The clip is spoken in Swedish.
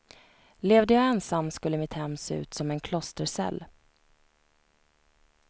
Levde jag ensam skulle mitt hem se ut som en klostercell.